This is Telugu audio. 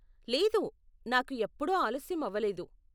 లేదు, నాకు ఎప్పుడూ ఆలస్యం అవ్వలేదు.